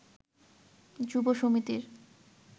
যুব সমিতির